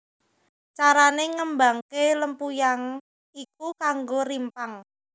Carane ngembangke lempuyang iku nganggo rimpang